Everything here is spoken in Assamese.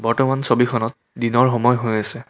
বৰ্তমান ছবিখনত দিনৰ সময় হৈ আছে।